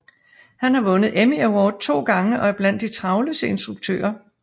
Han har vundet Emmy Award to gange og er blandt de travleste instruktører